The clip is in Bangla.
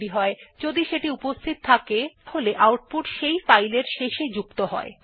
যদি ফাইলটির অস্তিত্ব আগে থেকেই থাকে তাহলে আউটপুট সেই ফাইল এর শেষে যুক্ত হয়